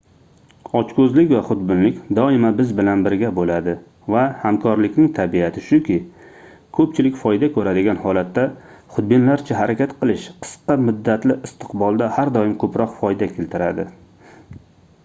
ochkoʻzlik va xudbinlik doimo biz bilan birga boʻladi va hamkorlikning tabiati shuki koʻpchilik foyda koʻradigan holatda xudbinlarcha harakat qilish qisqa muddatli istiqbolda har doim koʻproq foyda keltiradi